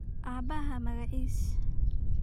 Abaahaa magacis?